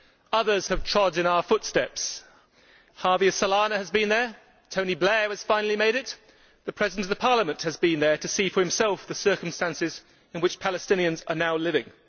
Others have trod in our footsteps Javier Solana has been there, Tony Blair has finally made it, and the President of Parliament has been there to see for himself the circumstances in which Palestinians are now living.